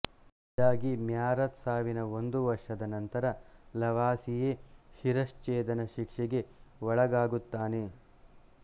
ಇದಾಗಿ ಮ್ಯಾರತ್ ಸಾವಿನ ಒಂದು ವರ್ಷದ ನಂತರ ಲವಾಸಿಯೇ ಶಿರಚ್ಚೇಧನ ಶಿಕ್ಷೆಗೆ ಒಳಗಾಗುತ್ತಾನೆ